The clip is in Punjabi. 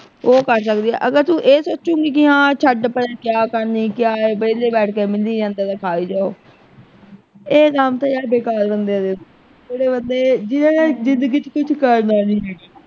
ਉਹ ਕਰ ਸਕਦੇ ਆਂ ਅਗਰ ਤੂੰ ਇਹ ਸੋਚੇਂਗੀ ਕਿ ਹਾਂ ਛੱਡ ਪਰੇ ਕਿਆ ਕਰਨੀ ਕਿਆ ਏ ਵੇਹਲੇ ਬੈਠ ਕੇ ਮਿਲੀ ਜਾਂਦਾ ਤੇ ਖਾਈ ਜਾਓ ਇਹ ਕੰਮ ਤੇ ਹਾਡੇ ਘਰ ਬੰਦਿਆ ਦੇ ਜਿਹੜੇ ਬੰਦੇ ਹਮ ਜਿੰਨਾ ਨੇ ਜਿੰਦਗੀ ਚ ਕੁਛ ਕਰਨਾ ਨਹੀਂ।